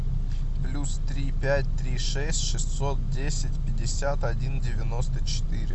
плюс три пять три шесть шестьсот десять пятьдесят один девяносто четыре